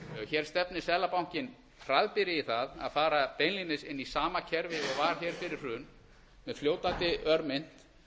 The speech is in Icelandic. hér stefnir seðlabankinn hraðbyri í það að fara beinlínis inn í sama kerfi og var hér fyrir hrun með fljótandi örmynt